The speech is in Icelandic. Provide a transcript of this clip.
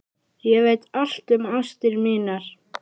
Ég veit allt um ástir mínar.